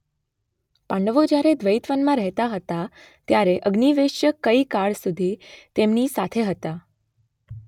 પાંડવો જ્યારે દ્વૈતવનમાં રહેતા હતા ત્યારે અગ્નિવેશ્ય કંઈ કાળ સુધી તેમની સાથે હતા.